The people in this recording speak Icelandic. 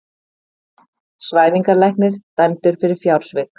Svæfingarlæknir dæmdur fyrir fjársvik